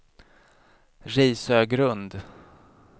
Risögrund